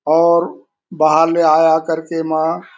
और बाहर ले आ-आ कर के ऐमा